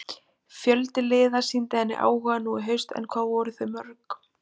Fjöldi liða sýndi henni áhuga nú í haust en hvað voru þau mörg?